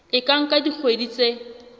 e ka nka dikgwedi tse